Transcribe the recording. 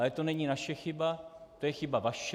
Ale to není naše chyba, to je chyba vaše.